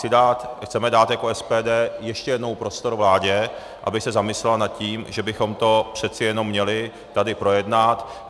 Chceme dát jako SPD ještě jednou prostor vládě, aby se zamyslela nad tím, že bychom to přeci jenom měli tady projednat.